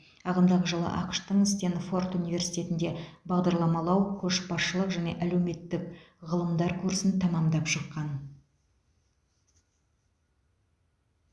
ағымдағы жылы ақш тың стенфорд университетінде бағдарламалау көшбасшылық және әлеуметтік ғылымдар курсын тәмамдап шыққан